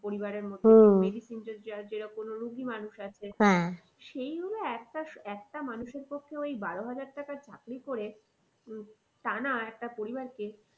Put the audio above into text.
পরিবারের medicine কোনো রুগি মানুষ আছে সেই ভাবে একটা একটা মানুষের পক্ষে ওই বারো হাজার টাকার চাকরি করে উম টানা একটা পরিবারকে